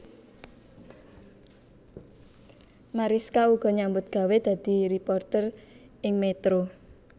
Marischka uga nyambut gawé dadi réporter ing Metro